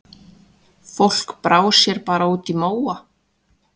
Fólk brá sér bara út í móa.